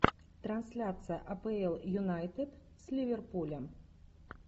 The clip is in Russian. трансляция апл юнайтед с ливерпулем